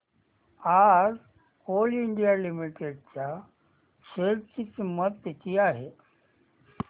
आज Coal India Limited च्या share ची किंमत किती आहे